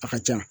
A ka can